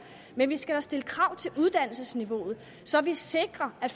men vi skal da stille krav til uddannelsesniveauet så vi sikrer at